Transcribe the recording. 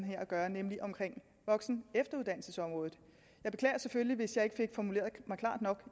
her at gøre nemlig om voksen og efteruddannelsesområdet jeg beklager selvfølgelig hvis jeg ikke fik formuleret mig klart nok